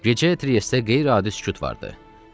Gecə Triestdə qeyri-adi sükut vardı.